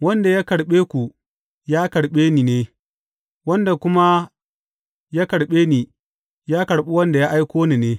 Wanda ya karɓe ku, ya karɓe ni ne, wanda kuma ya karɓe ni, ya karɓi wanda ya aiko ni ne.